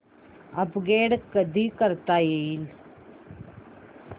upgrade कधी करता येईल